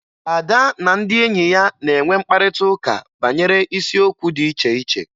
Ada na ndị enyi ya na-enwe mkparịtaụka banyere isiokwu dị iche iche